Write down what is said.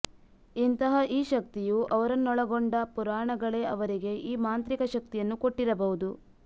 ಇಂತಹ ಈ ಶಕ್ತಿಯು ಅವರನ್ನೊಳಗೊಂಡ ಪುರಾಣಗಳೇ ಅವರಿಗೆ ಈ ಮಾಂತ್ರಿಕ ಶಕ್ತಿಯನ್ನು ಕೊಟ್ಟಿರಬಹುದು